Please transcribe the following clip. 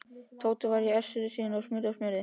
Tóti var í essinu sínu og smurði og smurði.